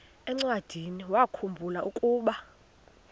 encwadiniwakhu mbula ukuba